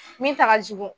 Min ta ka jugu